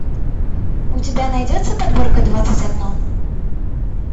у тебя найдется подборка двадцать одно